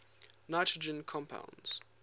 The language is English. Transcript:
nitrogen compounds